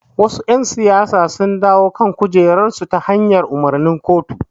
Wasu ƴan siyasa sun dawo kan kujerarsu ta hanyar umarnin kotu.